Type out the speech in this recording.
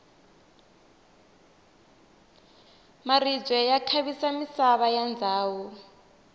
maribye ya khavisa misava ya ndhawu